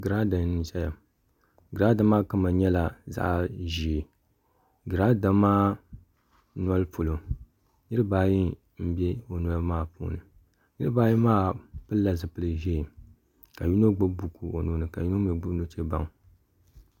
girada n ʒɛya girada maa kama nyɛla zaɣ ʒiɛ girada maa noli polo niraba ayi n bɛ o noli maa polo niraba ayi maa pilila zipili ʒiɛ ka yino gbubi buku o nuuni ka yino mii gbubi nuchɛ baŋa